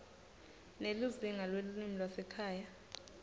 nelizingaa lelulwimi lwasekhaya